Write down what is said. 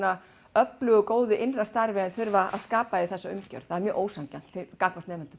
öflugu og góðu innra starfi og þurfa að skapa í þessari umgjörð það er mjög ósanngjarnt gagnvart nemendum